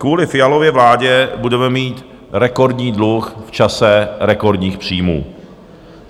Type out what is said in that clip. Kvůli Fialově vládě budeme mít rekordní dluh v čase rekordních příjmů.